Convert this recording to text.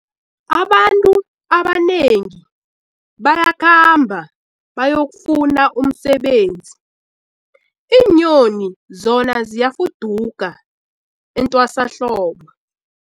Abantu abanengi bayakhamba bayokufuna umsebenzi, iinyoni zona ziyafuduka etwasahlobo.